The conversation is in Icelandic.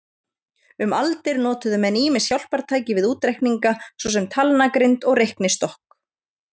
Um aldir notuðu menn ýmis hjálpartæki við útreikninga, svo sem talnagrind og reiknistokk.